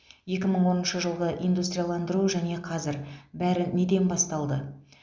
екі мың оныншы жылғы индустрияландыру және қазір бәрі неден басталды